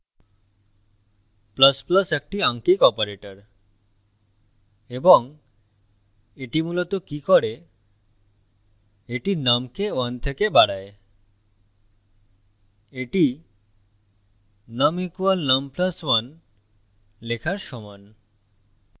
++ একটি আঙ্কিক operator এবং এটি মূলত কি করে এটি num কে 1 থেকে বাড়ায় এটি num = num + 1 লেখার সমান